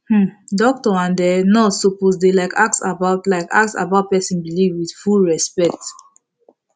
um doctor and um nurse suppose dey like ask about like ask about person belief with full respect